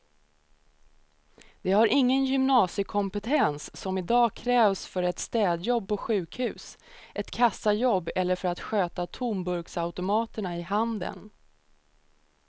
De har ingen gymnasiekompetens som i dag krävs för ett städjobb på sjukhus, ett kassajobb eller för att sköta tomburksautomaterna i handeln.